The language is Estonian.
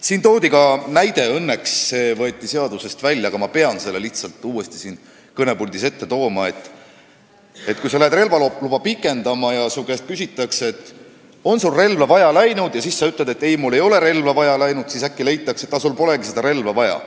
Siin toodi ka näide – õnneks võeti see säte seadusest välja, aga ma lihtsalt pean selle uuesti siin kõnepuldis välja tooma –, et kui sa lähed relvaluba pikendama ja su käest küsitakse, kas sul on relva vaja läinud, ja sa ütled, et ei ole, siis äkki leitakse, et sul polegi seda relva vaja.